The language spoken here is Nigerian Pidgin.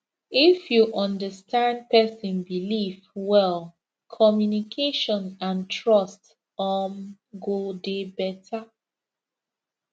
if you understand person belief well communication and trust um go dey better